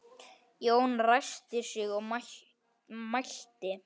Jón ræskti sig og mælti